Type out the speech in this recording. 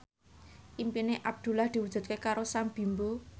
impine Abdullah diwujudke karo Sam Bimbo